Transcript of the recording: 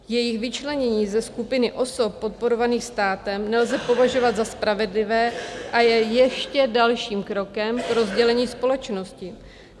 Jejich vyčlenění ze skupiny osob podporovaných státem nelze považovat za spravedlivé a je ještě dalším krokem k rozdělení společnosti.